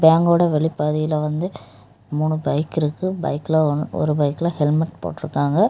பேங்கோட வெளிப்பாதையில் வந்து மூணு பைக் இருக்குது பைக்ல ஒரு பைக்ல ஹெல்மெட் போட்டு இருக்காங்க.